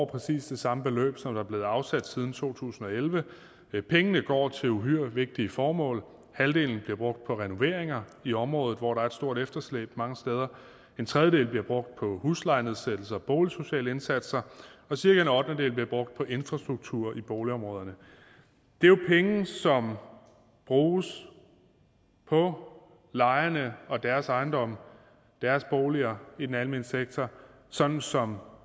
præcis det samme beløb som der er blevet afsat siden to tusind og elleve pengene går til uhyre vigtige formål halvdelen bliver brugt på renoveringer i området hvor der er et stort efterslæb mange steder en tredjedel bliver brugt på huslejenedsættelser og boligsociale indsatser og cirka en ottendedel bliver brugt på infrastruktur i boligområderne det er jo penge som bruges på lejerne og deres ejendomme deres boliger i den almene sektor sådan som